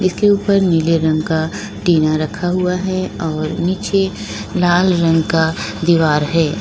इस के ऊपर नीले रंग का टीना रखा हुआ है और नीचे लाल रंग का दीवार है।